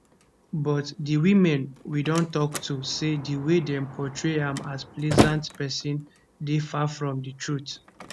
but di women we don tok to say di way dem portray am as pleasant pesin dey far from di truth